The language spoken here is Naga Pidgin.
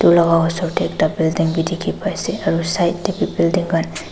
edu la osor tae ekta building bi dikhipaiase aro side tae bi building khan--